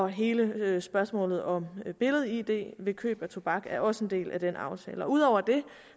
hele spørgsmålet om billed id ved køb af tobak er også en del af den aftale ud over det